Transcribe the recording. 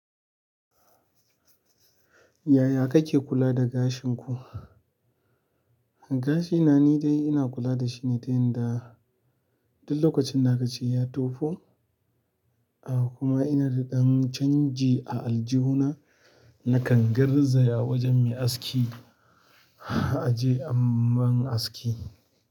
Yaya kake kula da gashin ku? Gashi na ni dai ina kula dashi ne ta yanda duk lokacin da aka ce ya tofo kuma inada ƴan canji a aljuhuna nakan garzaya wajen mai aski aje ammun aski.